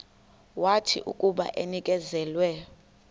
wathi akuba enikezelwe